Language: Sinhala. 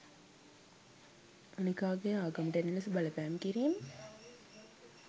අනෙකාගේ ආගමට එන ලෙස බලපෑම් කිරීම.